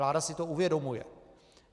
Vláda si to uvědomuje.